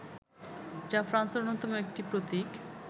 যা ফ্রান্সের অন্যতম একটি প্রতীক